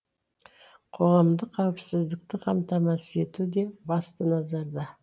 қоғамдық қауіпсіздікті қамтамасыз ету де басты назарда